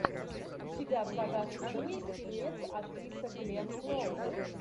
у тебя в загашнике есть фильмец актриса гленн клоуз